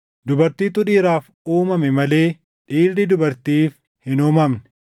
dubartiitu dhiiraaf uumame malee dhiirri dubartiif hin uumamne.